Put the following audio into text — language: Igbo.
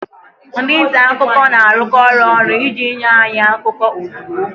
Ndị nta akụkọ na-arụkọ ọrụ ọnụ iji nye anyị akụkọ ozugbo